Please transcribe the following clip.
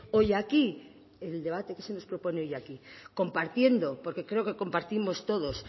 hoy aquí el debate que se nos propone hoy aquí compartiendo porque creo que compartimos todos